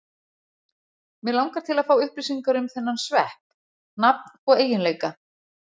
Mig langar til að fá upplýsingar um þennan svepp, nafn og eiginleika.